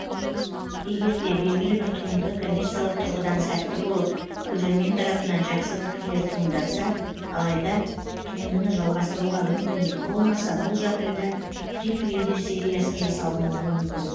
егерде белгілі бір туынды коммерциялық тұрғыдан сәтті болып көрермен тарапынан жақсы пікірлер туындатса алайда туындыны жалғастыруға мүмкіндік болмаса бұл жағдайда приквелдер сериясы жасалынуы мүмкін